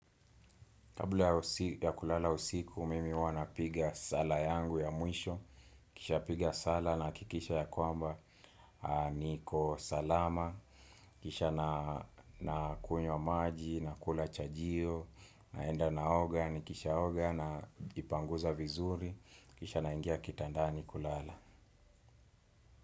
Kabla ya kulala usiku, mimi huwa napiga sala yangu ya mwisho, kisha piga sala, nahakikisha ya kwamba niko salama, kisha nakunywa maji, nakula chajio, naenda naoga, nikisha oga na jipanguza vizuri, kisha naingia kitandani kulala.